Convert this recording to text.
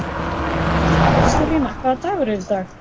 Kristólína, hvaða dagur er í dag?